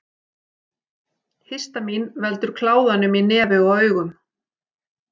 Histamín veldur kláðanum í nefi og augum.